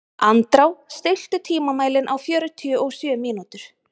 Andrá, stilltu tímamælinn á fjörutíu og sjö mínútur.